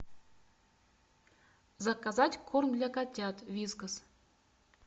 заказать корм для котят вискас